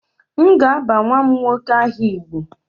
M ga-aba nwa m nwoke aha igbo